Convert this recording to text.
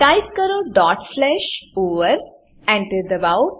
type કરો dot slash over Enter દબાવો